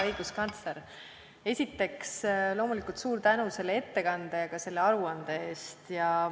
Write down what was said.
Hea õiguskantsler, esiteks loomulikult suur tänu ettekande ja ka aruande eest!